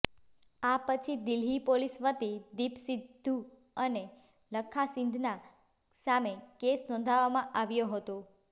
આ પછી દિલ્હી પોલીસ વતી દીપ સિદ્ધુ અને લક્ખા સિધના સામે કેસ નોંધવામાં આવ્યો હતો